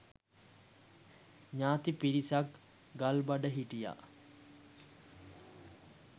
ඥාති පිරිසක් ගල්බඩ හිටියා.